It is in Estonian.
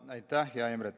Aitäh, hea Imre!